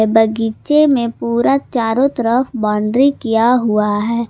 बगीचे में पूरा चारों तरफ बाउंड्री किया हुआ है।